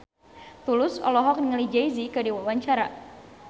Tulus olohok ningali Jay Z keur diwawancara